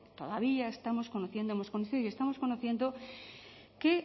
todavía estamos conociendo hemos conocido y estamos conociendo que